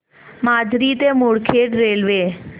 माजरी ते मुदखेड रेल्वे